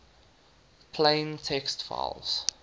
plain text files